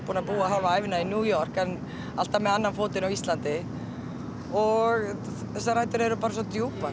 búin að búa hálfa ævina í New York en alltaf með annan fótinn á Íslandi og þessar rætur eru bara svo djúpar